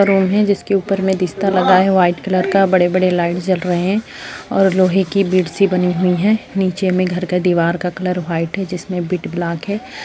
Room है जिसके ऊपर में बिस्तर लगाया हुआ वाइट कलर का बड़े बड़े लाइट्स जल रहे हैं और लोहे की बेड सी बनी हुई हैं नीचे में घर का कलर वाइट है जिसमें बिट ब्लाक है।